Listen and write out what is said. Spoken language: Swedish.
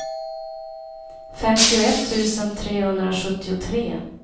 femtioett tusen trehundrasjuttiotre